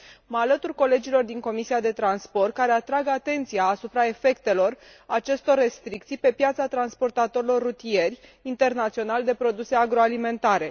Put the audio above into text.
Mă alătur colegilor din Comisia pentru transport și turism care atrag atenția asupra efectelor acestor restricții pe piața transportatorilor rutieri internaționali de produse agroalimentare.